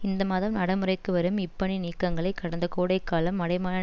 இந்த மாதம் நடமுறைக்கு வரும் இப்பணி நீக்கங்களை கடந்த கோடை காலம் அடைமான